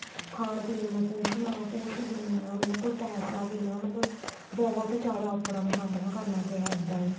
ਖਾਣ ਪੀਣ ਨੂੰ ਕੁੱਝ ਨਾ ਕੁੱਝ ਵੀ ਨਾ ਉਹਨਾ ਕੋਲ ਪੈਸਾ ਵੀ ਨਾ ਮਤਲਬ ਬਹੁਤ ਜਿਆਦਾ ਔਂਕੜਾ ਦਾ ਸਾਮਣਾ ਕਰਨਾ ਪਿਆ ਇੱਦਾਂ ਈ